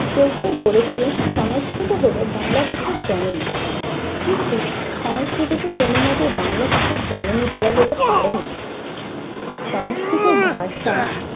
কেউ কেউ বলে থাকেন সংস্কৃত হলো বাংলা ভাষার জননী। কিন্তু সংস্কৃতকে কোনো মতেই বাংলা ভাষার জননী বলা যেতে পারে না। সংস্কৃত ভাষা